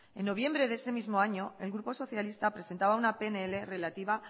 en noviembre de ese mismo año el grupo socialista presentaba una pnl relativa